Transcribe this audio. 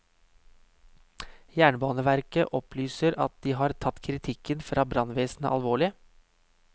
Jernbaneverket opplyser at de har tatt kritikken fra brannvesenet alvorlig.